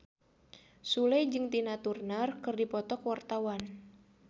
Sule jeung Tina Turner keur dipoto ku wartawan